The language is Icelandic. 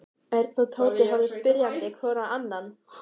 Örn og Tóti horfðu spyrjandi hvor á annan.